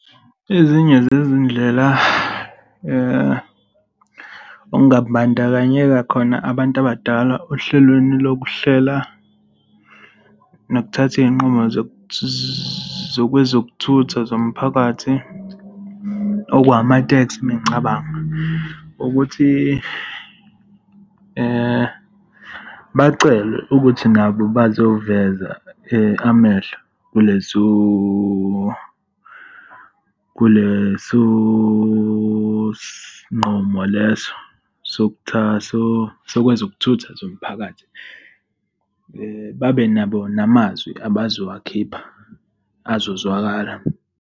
Ezinye zezindlela okungabandakanyeka khona abantu abadala ohlelweni lokuhlela nokuthatha izinqumo zokwezokuthutha zomphakathi, okwawama-taxi mengicabanga, ukuthi bacelwe ukuthi nabo bazoziveza amehlo kulezo, kuleso sigqumo leso sokwezokuthutha zomphakathi. Babe nabo namazwi abazowakhipha, azozwakala.